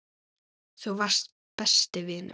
Þú varst besti vinur minn.